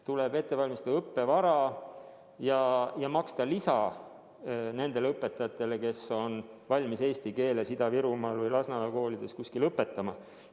Tuleb ette valmistada õppevara ja maksta lisa nendele õpetajatele, kes on valmis eesti keeles Ida-Virumaal või Lasnamäe koolides õpetama.